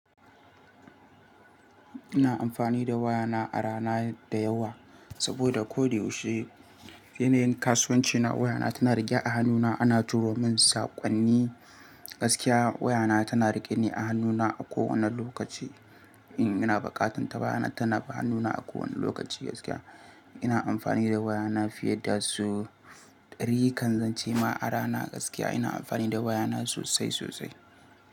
Ina amfani da wayana a rana da yawa saboda ko da yaushe yana yin kasuwancina wayana tana rike a hannuna. Ana juro min saƙonni. Gaskiya wayana tana riƙe ne a hannuna a ko wanne lokaci. In ina buƙatan ta, wayana tana a hannuna a ko wanne lokaci gaskiya. Ina amfani da wayana fiye da sau ɗari kan zance ma a rana gaskiya. Ina amfani da wayana sosai sosai.